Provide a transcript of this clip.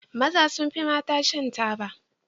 Maza sun fi mata shan taba.